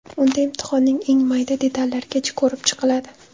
Unda imtihonning eng mayda detallarigacha ko‘rib chiqiladi.